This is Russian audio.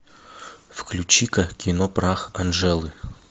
включи ка кино прах анджелы